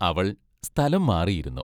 അവൾ സ്ഥലം മാറി ഇരുന്നു.